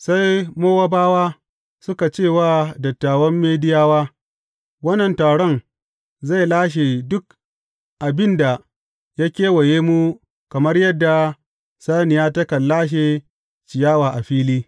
Sai Mowabawa suka ce wa dattawan Midiyawa, Wannan taron zai lashe duk abin da ya kewaye mu kamar yadda saniya takan lashe ciyawa a fili.